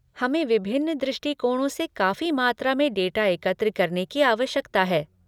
हमें विभिन्न दृष्टिकोणों से काफी मात्रा में डाटा एकत्र करने की आवश्यकता है।